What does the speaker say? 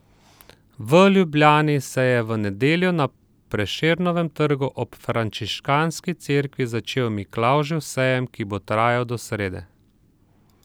V Ljubljani se je v nedeljo na Prešernovem trgu ob Frančiškanski cerkvi začel Miklavžev sejem, ki bo trajal do srede.